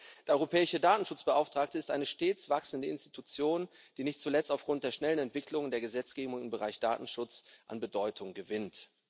Der Europäische Datenschutzbeauftragte ist eine stets wachsende Einrichtung, die nicht zuletzt aufgrund der schnellen Entwicklung der Gesetzgebung im Bereich Datenschutz an Bedeutung gewinnt.